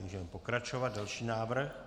Můžeme pokračovat, další návrh.